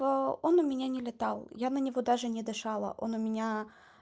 он у меня не летал я на него даже не дышала он у меня